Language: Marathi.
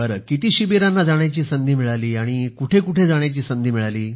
किती शिबिरांना जाण्याची संधी मिळाली कुठे कुठे जाण्याची संधी मिळाली